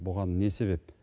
бұған не себеп